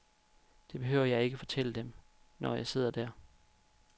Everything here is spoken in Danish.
Det behøver jeg ikke fortælle dem, når jeg sidder der.